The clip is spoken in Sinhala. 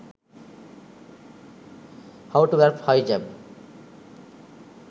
how to wrap hijab